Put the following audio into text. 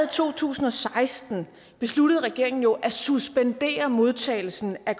to tusind og seksten besluttede regeringen jo at suspendere modtagelsen af